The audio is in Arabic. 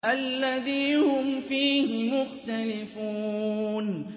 الَّذِي هُمْ فِيهِ مُخْتَلِفُونَ